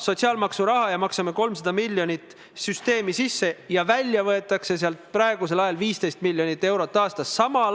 Kindlasti peavad ministeerium ja meie raudtee-ettevõtjad nende küsimustega edasi tegelema, täpselt samamoodi nagu eelmises punktis käsitletud abistajate teema puhul.